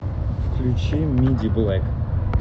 включи мидиблэк